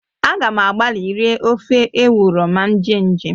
A ga m agbali rie ofe ewuro ma m jee njem